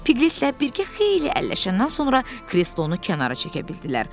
Piqletlə birgə xeyli əlləşəndən sonra krestlonu kənara çəkə bildilər.